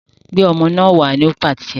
Gbé ọmọ náà wá! Ó pàṣẹ